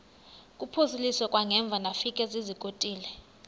kuphosiliso kwangaemva ndafikezizikotile